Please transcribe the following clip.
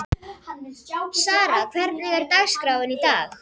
Sara, hvernig er dagskráin í dag?